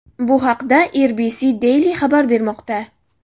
Bu haqda RBC Daily xabar bermoqda .